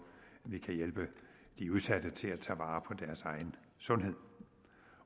vi kan hjælpe de udsatte til at tage vare på deres egen sundhed